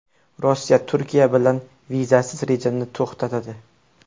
Rossiya Turkiya bilan vizasiz rejimni to‘xtatadi.